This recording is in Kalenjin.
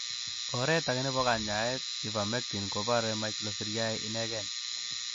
Oret age nebo kanyaet, ivermectin, kobore microfilariae ineken.